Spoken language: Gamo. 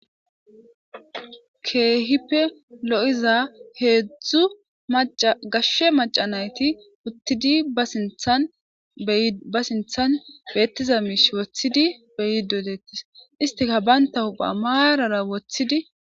Keehippe loyiza heedzdzu maca gashshe maca nayti uttidi tba sinthan beettiza miish woththidi beyidodettis istika baynta hupha maarara woththidi...